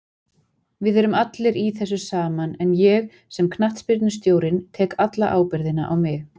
Við erum allir í þessu saman en ég, sem knattspyrnustjórinn, tek alla ábyrgðina á mig.